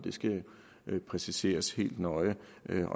skal præciseres helt nøje